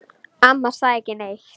Amma sagði ekki neitt.